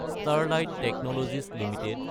Sterlite Technologies Ltd